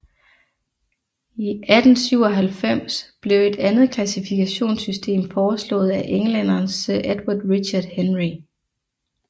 I 1897 blev et andet klassifikationssystem foreslået af englænderen Sir Edward Richard Henry